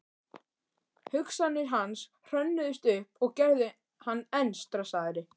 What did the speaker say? Hugsanir hans hrönnuðust upp og gerðu hann enn stressaðri.